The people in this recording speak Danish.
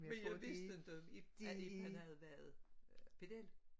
Men jeg vidste ikke at Ib havde været pedel